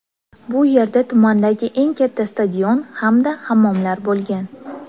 Bu yerda tumandagi eng katta stadion hamda hammomlar bo‘lgan.